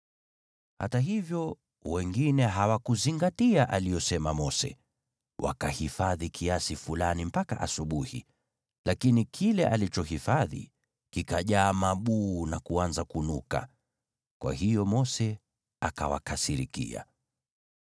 Hata hivyo, wengine hawakuzingatia aliyosema Mose, wakahifadhi kiasi fulani mpaka asubuhi, lakini kile alichohifadhi kikajaa mabuu na kuanza kunuka. Kwa hiyo Mose akawakasirikia.